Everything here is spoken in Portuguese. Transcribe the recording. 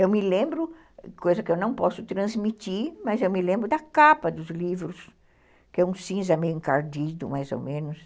Eu me lembro, coisa que eu não posso transmitir, mas eu me lembro da capa dos livros, que é um cinza meio encardido, mais ou menos.